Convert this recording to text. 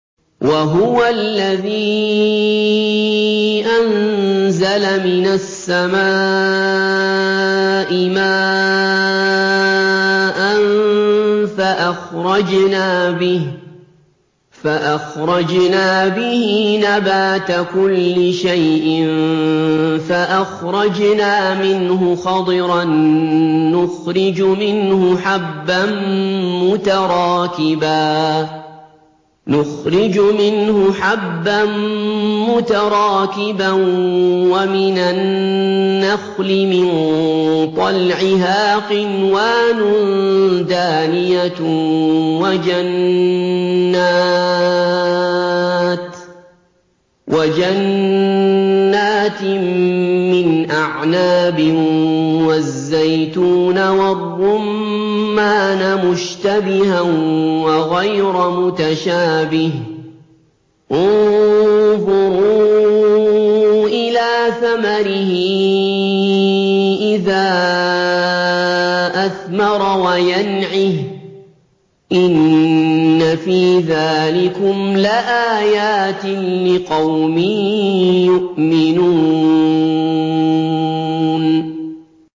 وَهُوَ الَّذِي أَنزَلَ مِنَ السَّمَاءِ مَاءً فَأَخْرَجْنَا بِهِ نَبَاتَ كُلِّ شَيْءٍ فَأَخْرَجْنَا مِنْهُ خَضِرًا نُّخْرِجُ مِنْهُ حَبًّا مُّتَرَاكِبًا وَمِنَ النَّخْلِ مِن طَلْعِهَا قِنْوَانٌ دَانِيَةٌ وَجَنَّاتٍ مِّنْ أَعْنَابٍ وَالزَّيْتُونَ وَالرُّمَّانَ مُشْتَبِهًا وَغَيْرَ مُتَشَابِهٍ ۗ انظُرُوا إِلَىٰ ثَمَرِهِ إِذَا أَثْمَرَ وَيَنْعِهِ ۚ إِنَّ فِي ذَٰلِكُمْ لَآيَاتٍ لِّقَوْمٍ يُؤْمِنُونَ